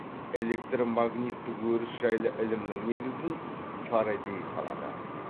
электромагниттік өріс жайлы ілімнің негізін фарадей қалады